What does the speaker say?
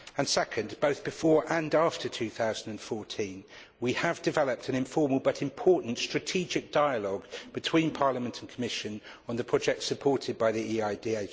Secondly, both before and after 2014, we have developed an informal but important strategic dialogue between Parliament and Commission on the projects supported by the EIDHR.